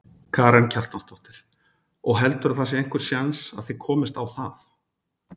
Karen Kjartansdóttir: Og heldurðu að það sé einhver séns að þið komist á það?